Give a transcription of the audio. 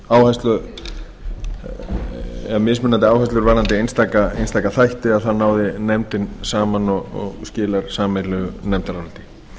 að auðvitað séu mismunandi áherslur varðandi einstaka þætti að þá náði nefndin saman og skilar sameiginlegu nefndaráliti